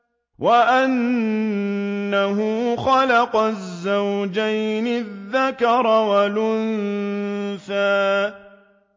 وَأَنَّهُ خَلَقَ الزَّوْجَيْنِ الذَّكَرَ وَالْأُنثَىٰ